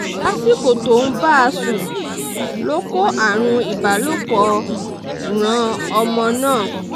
lásìkò tó ń bá a sùn ló kó àrùn ìbálòpọ̀ ran ọmọ náà